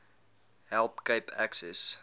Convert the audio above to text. help cape access